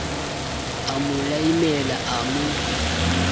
a mo laimela a mo